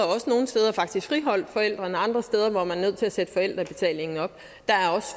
også nogle steder faktisk friholdt forældrene og andre steder var man nødt til at sætte forældrebetalingen op der er